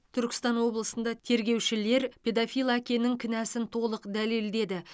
түркістан облысында тергеушілер педофил әкенің кінәсін толық дәлелдеді